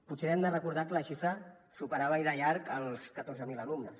potser hem de recordar que la xifra superava i de llarg els catorze mil alumnes